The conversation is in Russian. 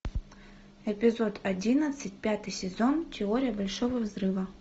эпизод одиннадцать пятый сезон теория большого взрыва